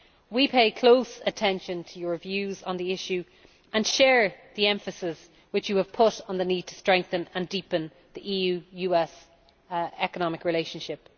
We pay close attention to your views on this issue and share the emphasis which you have put on the need to strengthen and deepen the EU US economic relationship.